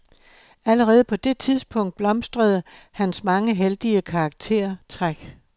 Allerede på det tidspunkt blomstrede hans mange heldige karaktertræk.